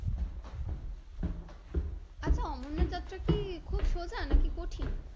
আচ্ছা অমরনাথ যাত্রা কি খুব সোজা নাকি কঠিন?